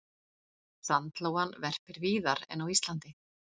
Sandlóan verpir víðar en á Íslandi.